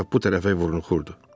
O tərəf-bu tərəfə vurnuxurdu.